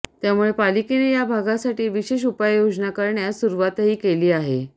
त्यामुळे पालिकेने या भागासाठी विशेष उपाययोजना करण्यास सुरुवातही केली आहे